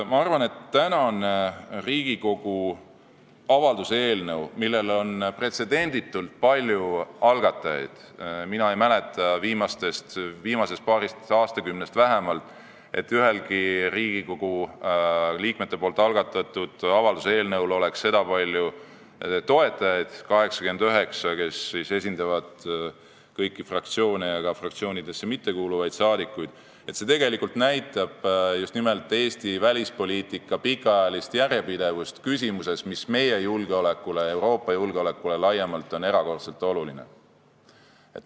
Ma arvan, et tänane Riigikogu avalduse eelnõu, millel on pretsedenditult palju algatajaid – mina ei mäleta viimasest paarist aastakümnest vähemalt, et ühelgi Riigikogu liikmete algatatud avalduse eelnõul oleks sedapalju toetajaid, 89, kes esindavad kõiki fraktsioone ja ka fraktsioonidesse mittekuuluvaid saadikuid –, tegelikult näitab just nimelt Eesti välispoliitika pikaajalist järjepidevust küsimuses, mis meie julgeolekule ja Euroopa julgeolekule laiemalt on erakordselt oluline.